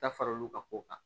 Ta fara olu ka kow kan